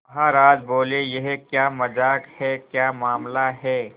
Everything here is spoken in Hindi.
महाराज बोले यह क्या मजाक है क्या मामला है